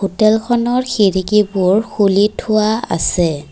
হোটেলখনৰ খিৰিকীবোৰ খুলি থোৱা আছে।